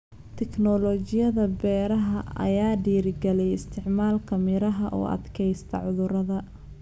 Tiknoolajiyada beeraha ayaa dhiirigeliyay isticmaalka miraha u adkaysta cudurada.